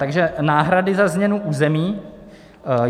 Takže náhrady za změnu území.